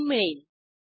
ethene मिळेल